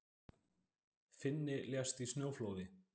Finni lést í snjóflóði